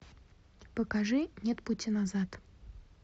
покажи нет пути назад